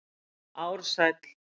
Ársæll